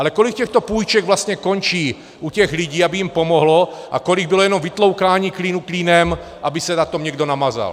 Ale kolik těchto půjček vlastně končí u těch lidí, aby jim pomohlo, a kolik bylo jenom vytloukání klínu klínem, aby se na tom někdo namazal?